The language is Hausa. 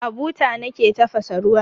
A buta nake tafasa ruwan.